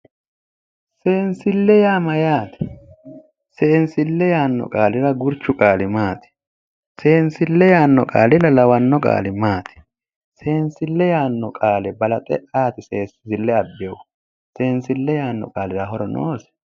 Seensille yaa Mayyaate? Seensille yaanno qaalira gurchu qaali maati? seensille yaanno qaalira lawanno qaali maati ? Seensille yaanno qaale balaxe ayeti seensille abbeehu? Seensille yaanno qaalira horo noosi?